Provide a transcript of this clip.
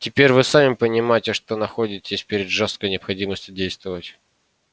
теперь вы сами понимаете что находитесь перед жёсткой необходимостью действовать